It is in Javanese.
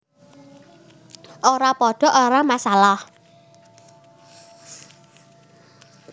Ora padha ora masalah